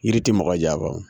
Yiri tɛ mɔgɔ janfa.